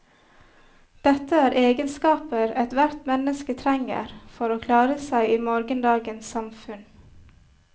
Dette er egenskaper et hvert menneske trenger for å klare seg i morgendagens samfunn.